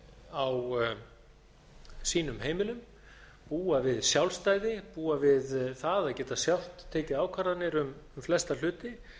á sínum heimilum búa við sjálfstæði búa við það að geta sjálft tekið ákvarðanir um flesta hluti